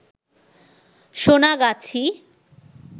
Sonagachi